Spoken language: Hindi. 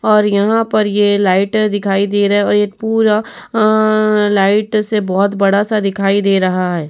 और यहाँ पर ये लाइटे दिखाई दे रहे और ये पूरा अन लाइट से बहोत बड़ा सा दिखाई दे रहा है।